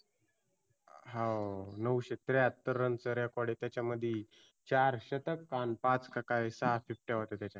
हा व नऊशे त्र्याहतर run चा record आहे त्याच्यामध्ये. चार शतक आणि पाच का काय सहा होत्या त्याच्यामध्ये.